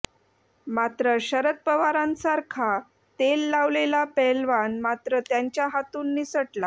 मात्र शरद पवारांसारखा तेल लावलेला पैलवान मात्र त्यांच्या हातून निसटला